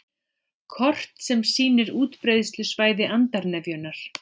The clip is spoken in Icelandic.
Kort sem sýnir útbreiðslusvæði andarnefjunnar